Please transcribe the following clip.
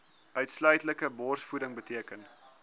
uitsluitlike borsvoeding beteken